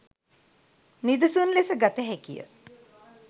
නිදසුන් ලෙස ගත හැකිය.